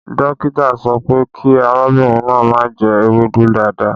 Dókítà sọ pé kí arábìnrin náà má jẹ ewédú dáadáa